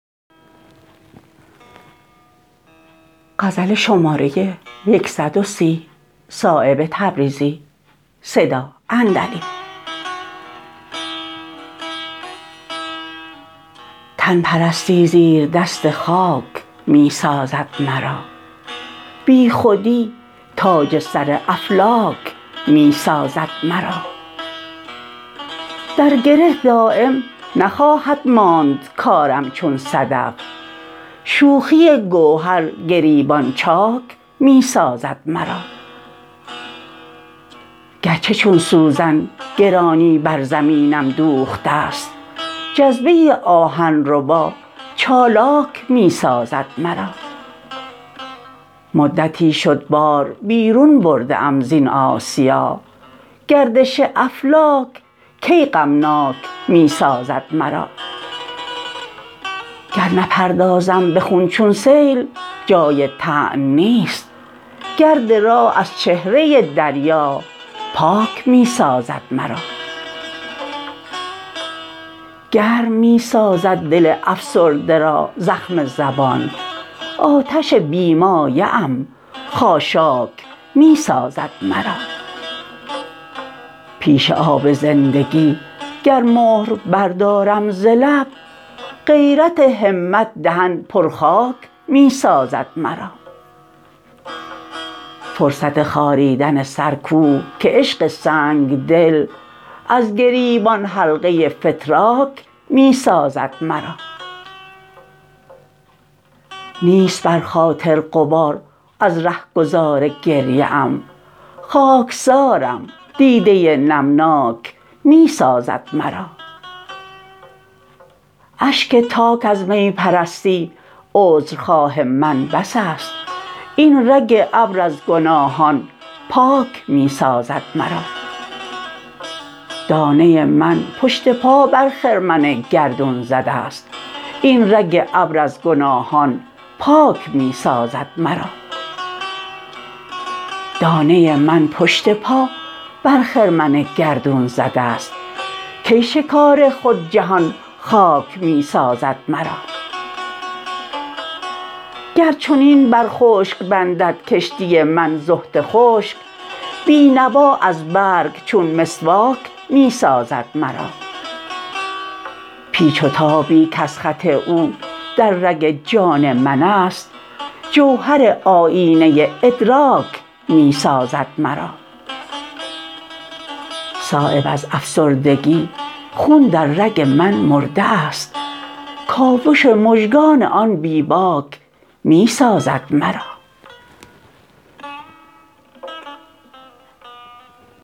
تن پرستی زیردست خاک می سازد مرا بی خودی تاج سر افلاک می سازد مرا در گره دایم نخواهد ماند کارم چون صدف شوخی گوهر گریبان چاک می سازد مرا گر چه چون سوزن گرانی بر زمینم دوخته است جذبه آهن ربا چالاک می سازد مرا مدتی شد بار بیرون برده ام زین آسیا گردش افلاک کی غمناک می سازد مرا گر نپردازم به خون چون سیل جای طعن نیست گرد راه از چهره دریا پاک می سازد مرا گرم می سازد دل افسرده را زخم زبان آتش بی مایه ام خاشاک می سازد مرا پیش آب زندگی گر مهر بردارم ز لب غیرت همت دهن پرخاک می سازد مرا فرصت خاریدن سر کو که عشق سنگدل از گریبان حلقه فتراک می سازد مرا نیست بر خاطر غبار از رهگذار گریه ام خاکسارم دیده نمناک می سازد مرا اشک تاک از می پرستی عذر خواه من بس است این رگ ابر از گناهان پاک می سازد مرا دانه من پشت پا بر خرمن گردون زده است این رگ ابر از گناهان پاک می سازد مرا دانه من پشت پا بر خرمن گردون زده است کی شکار خود جهان خاک می سازد مرا گر چنین بر خشک بندد کشتی من زهد خشک بینوا از برگ چون مسواک می سازد مرا پیچ و تابی کز خط او در رگ جان من است جوهر آیینه ادراک می سازد مرا صایب از افسردگی خون در رگ من مرده است کاوش مژگان آن بی باک می سازد مرا